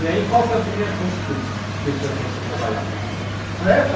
E aí, qual foi a primeira prostituta que o senhor começou a trabalhar com ela?